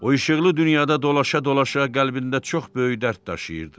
O işıqlı dünyada dolaşa-dolaşa qəlbində çox böyük dərd daşıyırdı.